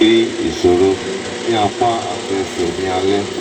mo ti ń ní ìrírí ìṣòro ní apá àti ẹsẹ̀ ní alẹ́